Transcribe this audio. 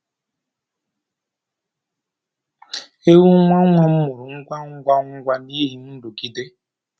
Ewu nwa nwa m mụrụ ngwa ngwa ngwa n’ihi nrụgide.